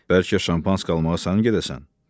Bəlkə Şampanski almağa sən gedəsən? dedi.